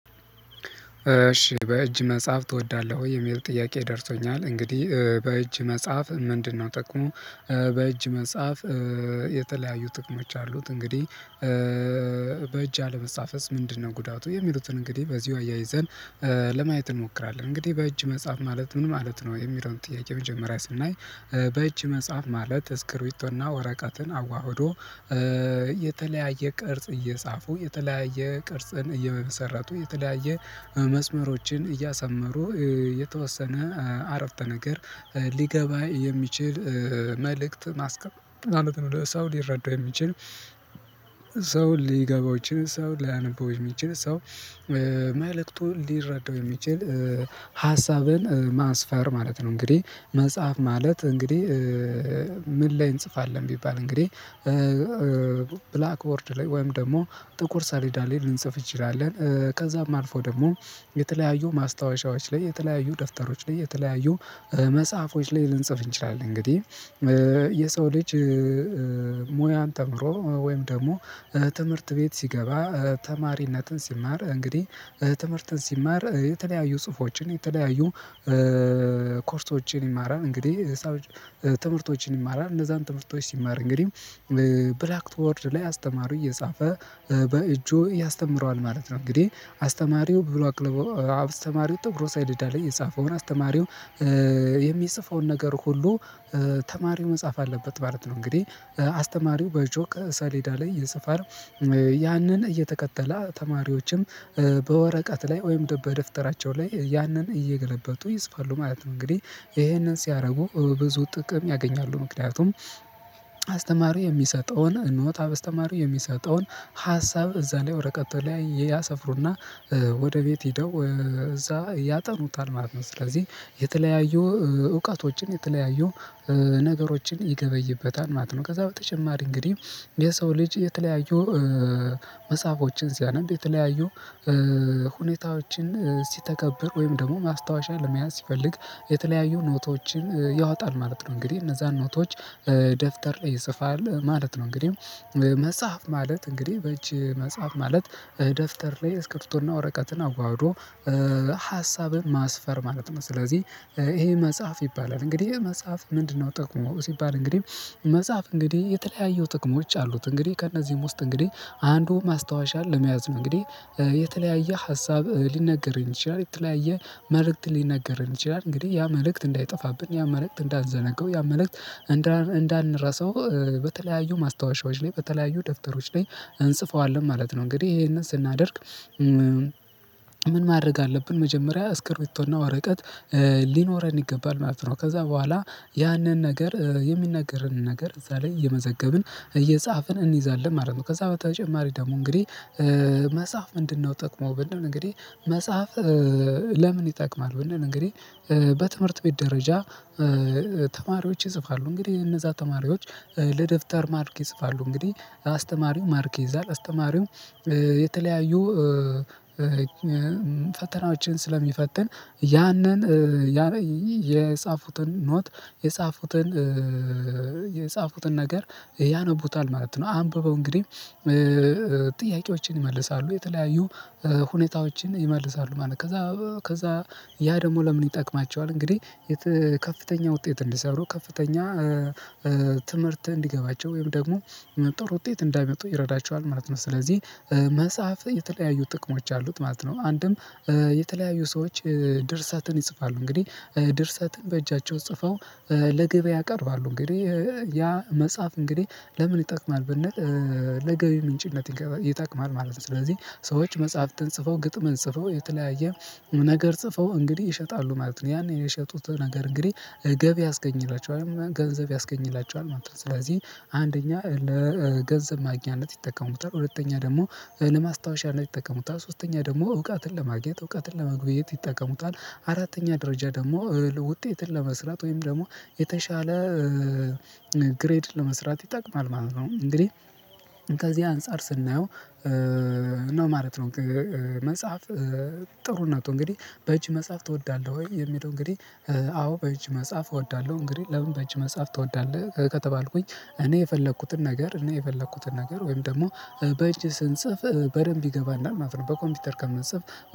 እሺ በእጅ መጻፍ ትወዳለህ? ወይ የሚል ጥያቄ ደርሶኛል እንግዲህ በእጅ መጻፍ ምንድነው ጥቅሙ? በእጅ መጻፍ የተለያዩ ጥቅሞች አሉት። እንግዲህ በእጅ አለመጻፍስ ምንድነው? ጉዳቱ የሚሉትን እንግዲህ በዚሁ አያይዘን ለማየት እንሞክራለን። እንግዲህ በእጅ መጻሐፍ ማለት ምን ማለት ነው የሚለውን ጥያቄ መጀመሪያ ስናይ? በእጅ መጽጻፍ ማለት ስክሪብቶና ወረቀትን አዋህዶ የተለያየ ቅርጽ እየጻፉ የተለያየ ቅርጽን እየመሰረቱ የተለያየ መስመሮችን እያሰመሩ የተወሰነ ዓረፍተ ነገር ሊገባ የሚችል መልእክት ማስቀመጥ ማለት ነው። ለሰው ሊረዳው የሚችል ሊገባው ይችል ሰው ሊያነበው ይችል ሰው መልዕክቱ ሊረዳው የሚችል ሀሳብን ማስፈር ማለት ነው። እንግዲህ መጽሐፍ ማለት እንግዲህ ምን ላይ እንጽፋለን ቢባል እንግዲህ ብላክ ቦርድ ላይ ወይም ደግሞ ጥቁር ሳሌዳ ላይ ልንጽፍ እንችላለን። ከዛም አልፎ ደግሞ የተለያዩ ማስታወሻዎች ላይ የተለያዩ ደፍተሮች ላይ የተለያዩ መጽሐፎች ላይ ልንጽፍ እንችላለን። እንግዲህ የሰው ልጅ ሙያን ተምሮ ወይም ደግሞ ትምህርት ቤት ሲገባ ተማሪነትን ሲማር እንግዲህ ትምህርትን ሲማር የተለያዩ ጽሁፎችን የተለያዩ ኮርሶችን ይማራል እንግዲህ ሰዎች ትምህርቶችን ይማራል እነዛን ትምህርቶች ሲማር እንግዲህ ብላክ ቦርድ ላይ አስተማሪ እየጻፈ በእጁ ያስተምረዋል ማለት ነው። እንግዲህ አስተማሪው ብላክ ቦርድ አስተማሪው ጥቁሩ ሰሌዳ ላይ የጻፈውን አስተማሪው የሚጽፈውን ነገር ሁሉ ተማሪው መጻፍ አለበት ማለት ነው። እንግዲህ አስተማሪው በጆክ ሰሌዳ ላይ የጽፈረው ያንን እየተከተለ ተማሪዎችም በወረቀት ላይ ወይም በደፍተራቸው ላይ ያንን እየገለበጡ ይፅፋሉ ማለት ነው። እንግዲህ ይሄንን ሲያደርጉ ብዙ ጥቅም ያገኛሉ ምክንያቱም አስተማሪ የሚሰጠውን እኖት አበስተማሪ የሚሰጠውን ሀሳብ እዛ ላይ ወረቀት ላይ ያሰፍሩና ወደ ቤት ሄደው እዛ ያጠኑታል ማለት ነው። ስለዚህ የተለያዩ እውቀቶችን የተለያዩ ነገሮችን ይገበይበታል ማለት ነው። ከዛ በተጨማሪ እንግዲህ የሰው ልጅ የተለያዩ መጽሐፎችን ሲያነብ የተለያዩ ሁኔታዎችን ሲተገብር ወይም ደግሞ ማስታወሻ ለመያዝ ሲፈልግ የተለያዩ ኖቶችን ያወጣል ማለት ነው። እንግዲህ እነዛን ኖቶች ደፍተር ላይ ይፅፋል ማለት ነው። እንግዲህ መጻፍ ማለት እንግዲህ በእጅ መጻፍ ማለት ደፍተር ላይ እስክርብቶና ወረቀትን አዋህዶ ሀሳብን ማስፈር ማለት ነው። ስለዚህ ይሄ መጻፍ ይባላል እንግዲህ ይሄ መጻፍ ምንድነው? ጥቅሙ ሲባል እንግዲህ መጻፍ እንግዲህ የተለያየው ጥቅሞች አሉት። እንግዲህ ከእነዚህም ውስጥ እንግዲህ አንዱ ማስታወሻ ለመያዝ ነው። እንግዲህ የተለያየ ሀሳብ ሊነገረኝ ይችላል የተለያየ መልእክት ሊነገረኝ ይችላል። እንግዲህ ያ መልእክት እንዳይጠፋብን ያን መልእክት እንዳልዘነገው ያን መልእክት እንዳንረሳው በተለያዩ ማስታወሻዎች ላይ በተለያዩ ደብተሮች ላይ እንጽፈዋለን ማለት ነው። እንግዲህ ይሄንን ስናደርግ ምን ማድረግ አለብን መጀመሪያ አስክርቢቶና ወረቀት ሊኖረን ይገባል ማለት ነው። ከዛ በኋላ ያንን ነገር የሚነገረንን ነገር እዛ ላይ እየመዘገብን እየጻፍን እንይዛለን ማለት ነው። ከዛ በተጨማሪ ደግሞ እንግዲህ መጽሐፍ ምንድነው? ጥቅሙ ብንል እንግዲህ መጻፍ ለምን ይጠቅማል? ወይንም እንግዲህ በትምህርት ቤት ደረጃ ተማሪዎች ይጽፋሉ እንግዲህ እነዛ ተማሪዎች ለደብተር ማርክ ይጽፋሉ እንግዲህ አስተማሪው ማርክ ይዛል አስተማሪው የተለያዩ ፈተናዎችን ስለሚፈትን ያንን የጻፉትን ኖት የጻፉትን የጻፉትን ነገር ያነቡታል ማለት ነው። አንብበው እንግዲህ ጥያቄዎችን ይመልሳሉ የተለያዩ ሁኔታዎችን ይመልሳሉ ማለት ነው። ከዛ ከዛ ያ ደግሞ ለምን ይጠቅማቸዋል? እንግዲህ ከፍተኛ ውጤት እንዲሰሩ ከፍተኛ ትምህርት እንዲገባቸው ወይም ደግሞ ጥሩ ውጤት እንድያመጡ ይረዳቸዋል ማለት ነው። ስለዚህ መጻፍ የተለያዩ ጥቅሞች አሉት ማለት ነው። አንድም የተለያዩ ሰዎች ድርሰትን ይጽፋሉ እንግዲህ ድርሰትን በእጃቸው ጽፈው ለገበያ ያቀርባሉ። እንግዲህ ያ መጻፍ እንግዲህ ለምን ይጠቅማል? ብንል ለገቢ ምንጭነት ይጠቅማል ማለት ነው። ስለዚህ ሰዎች መጽሐፍትን ጽፈው ግጥምን ጽፈው የተለያየ ነገር ጽፈው እንግዲህ ይሸጣሉ ማለት ነው። ያንን የሸጡት ነገር እንግዲህ ገቢ ያስገኝላቸዋል ገንዘብ ያስገኝላቸዋል ማለት ነው። ስለዚህ አንደኛ ለገንዘብ ማግኛነት ይጠቀሙታል ሁለተኛ ደግሞ ለማስታወሻነት ይጠቀሙታል ሶስተኛ ደግሞ እውቀትን ለማግኘት እውቀትን ለመግበየት ይጠቀሙታል። አራተኛ ደረጃ ደግሞ ውጤትን ለመስራት ወይም ደግሞ የተሻለ ለመስራት ይጠቅማል ማለት ነው። እንግዲህ ከዚህ አንፃር ስናየው ነው ማለት ነው። መጽሐፍ ጥሩነቱ እንግዲህ በእጅ መጻፍ ትወዳለህ ወይ? የሚለው እንግዲህ አዎ በእጅ መጻፍ እወዳለሁ። እንግዲህ ለምን በእጅ መጻፍ ትወዳለህ? ከተባልኩኝ እኔ የፈለኩትን ነገር እኔ የፈለኩትን ነገር ወይም ደግሞ በጅ ስንጽፍ በደንብ ይገባናል ማለት ነው። በኮምፒውተር ከምንፅፍ